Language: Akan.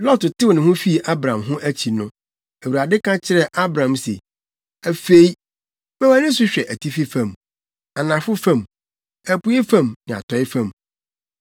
Lot tew ne ho fii Abram ho akyi no, Awurade ka kyerɛɛ Abram se, “Afei, ma wʼani so hwɛ atifi fam, anafo fam, apuei fam ne atɔe fam.